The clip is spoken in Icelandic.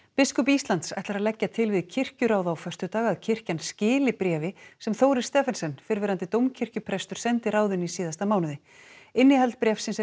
biskup Íslands ætlar að leggja til við kirkjuráð á föstudag að kirkjan skili bréfi sem Þórir Stephensen fyrrverandi dómkirkjuprestur sendi ráðinu í síðasta mánuði innihald bréfsins er